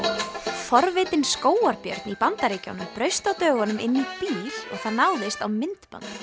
forvitinn skógarbjörn í Bandaríkjunum braust á dögunum inn í bíl og það náðist á myndband